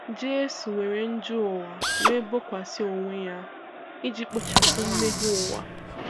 Jesụ weere njọ ụwa we bọkwasi ọwe ya iji kpọchapụ mmehe ụwa.